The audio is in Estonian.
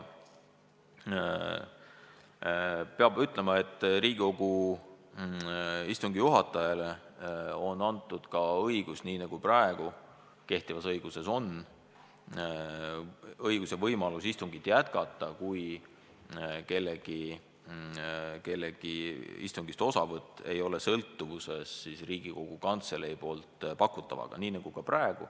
Peab ütlema ka seda, et Riigikogu istungi juhatajale on antud ka – nii nagu praegu kehtivas õiguses on – istungit jätkata, kui kellegi istungist osavõtt ei ole sõltuvuses Riigikogu Kantselei poolt pakutavaga.